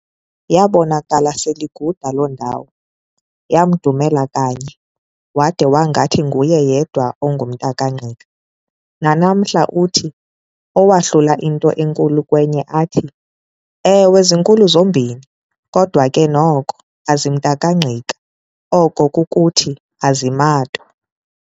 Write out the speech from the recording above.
Yaabonakala sel'iguda loo ndawo, yamdumela kanye, wade wangathi nguye yedwa ongumntakaNgqika. Nanamhla uthi owahlula into enkulu kwenye athi- "Ewe zinkulu zombini, kodwa ke noko "azimntakangqik"a, oko kukuthi, "aziMatwa"."